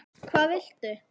Hvað viltu?